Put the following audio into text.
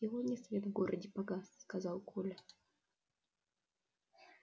сегодня свет в городе погас сказал коля